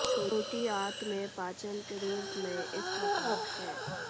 छोटी आंत में पाचन के रूप में इस प्रकार है